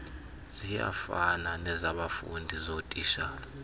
ziyafana nezabafundi zootitshala